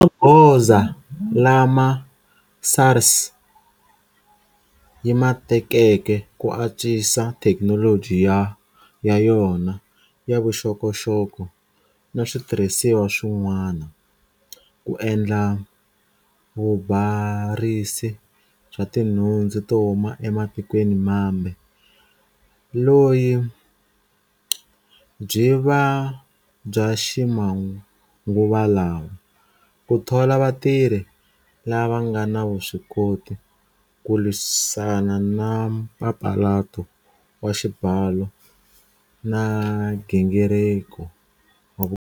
I magoza lama SARS yi ma tekeke ku antswisa thekinoloji ya yona ya vuxokoxoko na switirhisiwa swin'wana, ku endla vubarisi bya tinhundzu to huma ematikweni mambe loyi byi va bya ximanguvalawa, ku thola vatirhi lava nga na vuswikoti, ku lwisana na mpapalato wa xibalo na nghingiriko wa vu.